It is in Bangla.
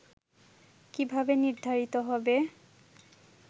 ' কিভাবে নির্ধারিত হবে